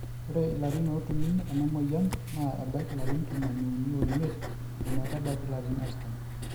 ore ilarin ootumi enamoyian naa ebaiki ilarin tomon iuni oimiet o metabaik ilarin artam